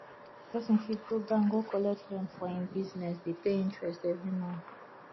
person fit go bank go collect loan for im business dey pay interest every month